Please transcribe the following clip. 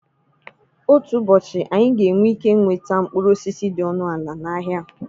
Otu ụbọchị, anyị ga-enwe ike nweta mkpụrụ osisi dị ọnụ ala n'ahịa.